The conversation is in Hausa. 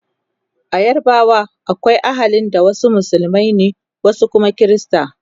a yarbawa akwai ahalin da wasu musulmai ne wasu Kuma Krista